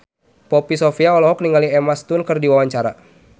Poppy Sovia olohok ningali Emma Stone keur diwawancara